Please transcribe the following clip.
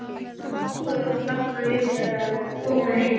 Ákveður að fletta því upp þegar hún komi heim.